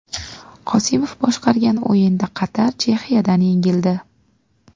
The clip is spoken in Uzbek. Qosimov boshqargan o‘yinda Qatar Chexiyadan yengildi.